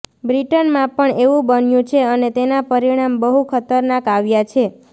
બ્રિટનમાં પણ એવુ બન્યુ છે અને તેના પરિણામ બહુ ખતરનાક આવ્યા છે